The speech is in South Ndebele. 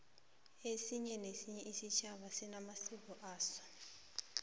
esinye nesinye isitjhaba sinamasiko aso